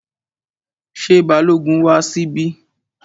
Ṣé Balógun wá síbí?